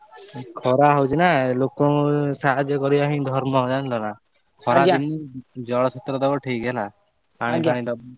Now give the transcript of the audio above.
ଖରା ହଉଛି ନା ଲୋକ ସାହାଯ୍ୟ କରିବା ହିଁ ଧର୍ମ ଜାଣିଲ ନା ଖରା ଦିନେ ଜଳ ଛତ୍ର ଦବ ଠିକ ହେଲା।